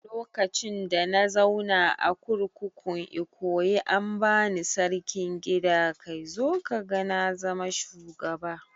Lokacin da na zauna a kurkukun Ikoyi an bani Sarkin gida kai zo kaga na zama shugaba